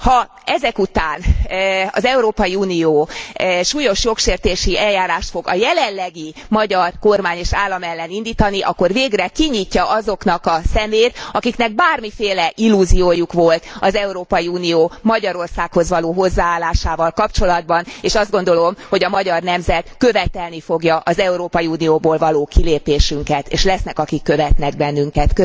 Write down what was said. Ha ezek után az Európai Unió súlyos jogsértési eljárást fog a jelenlegi magyar kormány és állam ellen indítani, akkor végre kinyitja azoknak a szemét, akiknek bármiféle illúziójuk volt az Európai Unió Magyarországhoz való hozzáállásával kapcsolatban, és azt gondolom, hogy a magyar nemzet követelni fogja az Európai Unióból való kilépésünket, és lesznek, akik követnek bennünket.